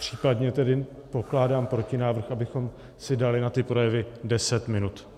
Případně tedy pokládám protinávrh, abychom si dali na ty projevy deset minut.